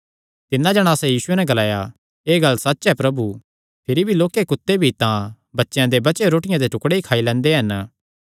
तिन्नै जणासा यीशुये नैं ग्लाया एह़ गल्ल सच्च ऐ प्रभु भिरी भी लोक्के कुत्ते भी तां बच्चेयां दे बचेयो रोटियां दे टुकड़ेयां जो खाई लैंदे हन